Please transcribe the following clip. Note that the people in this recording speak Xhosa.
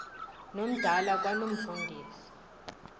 nomdala kwano mfundisi